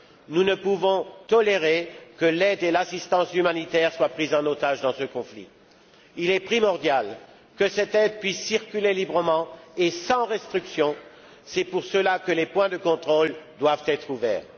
Nous ne pouvons tolérer que l'aide et l'assistance humanitaires soient prises en otage dans ce conflit. Il est primordial que cette aide puisse circuler librement et sans restriction, et que, dès lors, les points de contrôle soient ouverts.